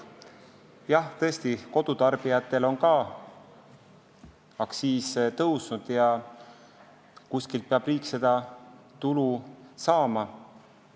Jah, tõesti, kodutarbijatel on ka aktsiis tõusnud, aga kuskilt peab riik tulu saama.